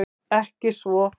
Ekki svo